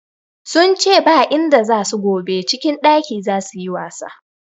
Sun ce ba inda za su gobe, cikin ɗaki za su yi wasa.